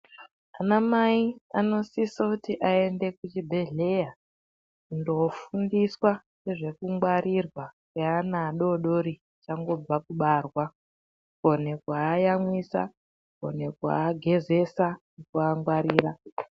Anamai, anosise kuti ayende kuchibhedhleya kundofundiswa nezvokungwarirwa ye ana adodori vachangobva kubarwa. Kuwonekwa vayamwisa, kuwonekwa agezesa kuwangwarira.